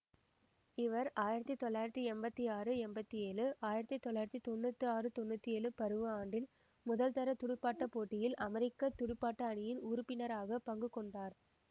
இவர் ஆயிரத்தி தொள்ளாயிரத்தி எம்பத்தி ஆறு எம்பத்தி ஏழு ஆயிரத்தி தொள்ளாயிரத்தி தொன்னூற்தி ஆறு தொன்னூற்தி ஏழு பருவ ஆண்டில் முதல்தர துடுப்பாட்ட போட்டியில் அமெரிக்க துடுப்பாட்ட அணியின் உறுப்பினராக பங்குகொண்டார்